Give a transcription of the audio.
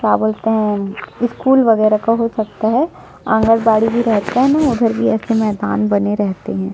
क्या बोलते है स्कूल वगेरा का हो सकता है आंगनबाड़ी भी रहता है ना उधर भी एसे मैदान बने रहते है।